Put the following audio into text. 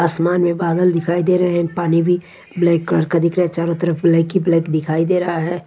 आसमान में बादल दिखाई दे रहे हैं पानी भी ब्लैक कलर दिख रहा चारों तरफ ब्लैक की ब्लैक दिखाई दे रहा है।